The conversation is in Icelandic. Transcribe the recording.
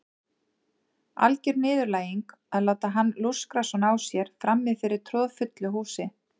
Alger niðurlæging að láta hann lúskra svona á sér frammi fyrir troðfullu húsi.